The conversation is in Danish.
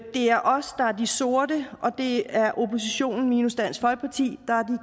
er os der er de sorte og det er oppositionen minus dansk folkeparti der er